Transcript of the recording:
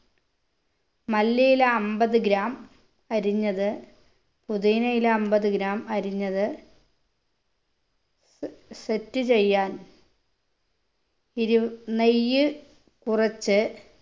മല്ലിയില അമ്പത് gram അരിഞ്ഞത് പുതിനയില അമ്പത് gram അരിഞ്ഞത് സ് set ചെയ്യാൻ ഇരു നെയ്യ് കുറച്ച്